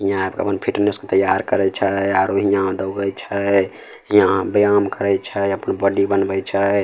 हीया एब के अपन फिटनेस के तैयार करे छै आरो हीया दौड़े छै यहां व्यायाम करे छै अपन बॉडी बनवे छै।